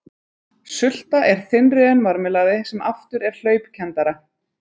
Sulta er þynnri en marmelaði sem aftur er hlaupkenndara.